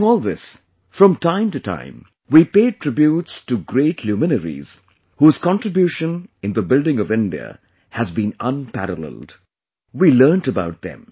During all this, from time to time, we paid tributes to great luminaries whose contribution in the building of India has been unparalleled; we learnt about them